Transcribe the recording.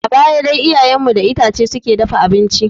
A baya dai iyayen mu da itace suke dafa abinci.